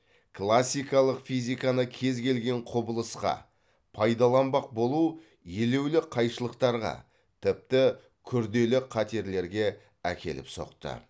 классикалық физиканы кез келген құбылысқа пайдаланбақ болу елеулі қайшылықтарға тіпті күрделі қатерлерге әкеліп соқты